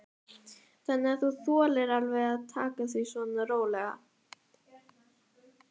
Þannig að þú þolir alveg að taka því svona rólega?